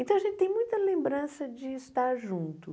Então a gente tem muita lembrança de estar junto.